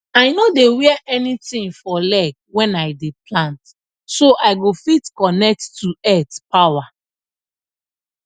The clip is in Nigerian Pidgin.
i no dey wear anything for leg when i dey plant so i go fit connect to earth power